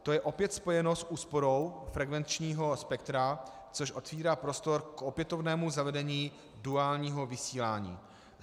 To je opět spojeno s úsporou frekvenčního spektra, což otvírá prostor k opětovnému zavedení duálního vysílání.